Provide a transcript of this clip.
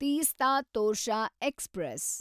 Teesta Torsha express